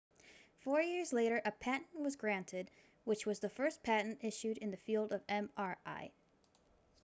four years later a patent was granted which was the world's first patent issued in the field of mri